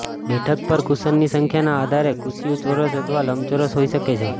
બેઠક પર કુશનની સંખ્યાના આધારે કુશિયું ચોરસ અથવા લંબચોરસ હોઈ શકે છે